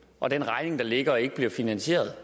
og den regning der ligger ikke bliver finansieret